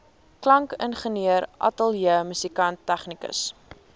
klankingenieur ateljeemusikant tegnikus